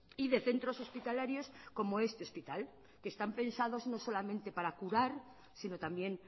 y de centros hospitalarios como este hospital que están pensados no solamente para curar sino también